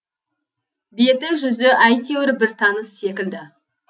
беті жүзі әйтеуір бір таныс секілді